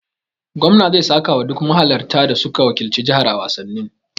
Gwamnan zai saka wa duk mahalarta da suka wakilci jihar a wasannin.